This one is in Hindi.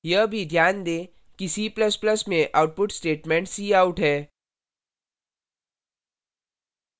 यह भी ध्यान दें कि c ++ में output statement cout है